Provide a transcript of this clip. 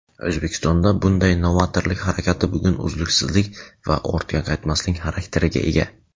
O‘zbekistonda bunday novatorlik harakati bugun uzluksizlik va ortga qaytmaslik xarakteriga ega.